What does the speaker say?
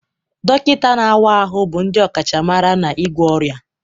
Dọkịta na-awa ahụ bụ ndị ọkachamara n'ịgwọ ọrịa